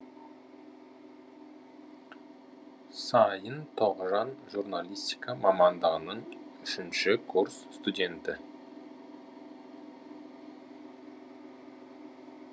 сайын тоғжан журналистика мамандығының үшінші курс студенті